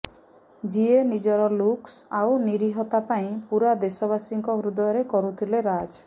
ଯିଏ ନିଜର ଲୁକ୍ସ ଆଉ ନୀରିହତା ପାଇଁ ପୁରା ଦେଶବାସୀଙ୍କ ହୃଦୟରେ କରୁଥିଲେ ରାଜ୍